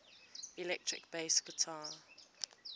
electric bass guitar